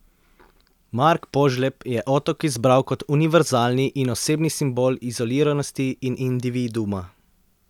Mark Požlep je otok izbral kot univerzalni in osebni simbol izoliranosti in individuuma.